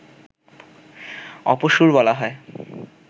অপসূর বলা হয়